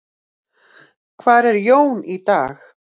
Hvar er Jón í dag?